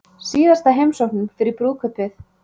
Síðasta heimsóknin fyrir brúðkaupið